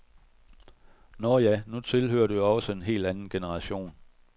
Nå ja, nu tilhører du jo også en helt anden generation.